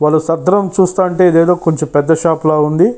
వాళ్ళ సంద్రం చూస్తంటే ఇదేదో పెద్ద షాప్ లాగా ఉంది.